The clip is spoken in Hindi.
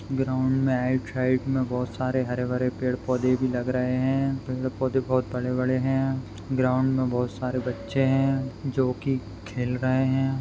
ग्राउन्ड मे राइट साइड मे बहुत सारे हरे भरे पेड़ पौधे भी लग रहे है पेड़ पौधे बहुत बड़े-बड़े है ग्राउन्ड मे बहुत सारे बच्चे हैं जो कि खेल रहे है।